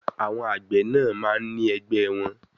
Àwọn àgbẹ̀ náà máa ń ní ẹgbẹ́ẹ wọn.